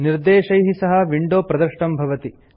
निर्देशैः सह विंडो प्रदृष्टं भवति